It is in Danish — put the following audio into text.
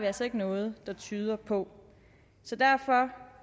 altså ikke noget der tyder på så derfor